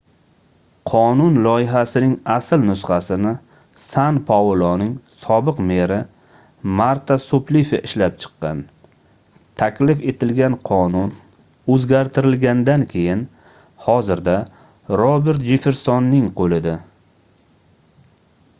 qonun loyihasining asl nusxasini san pauloning sobiq meri marta suplifi ishlab chiqqan taklif etilgan qonun oʻzgartirilgandan keyin hozirda robert jeffersonning qoʻlida